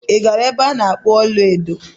Ị gara na-ebe okpu ọla edo?